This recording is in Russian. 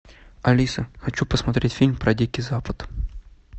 алиса хочу посмотреть фильм про дикий запад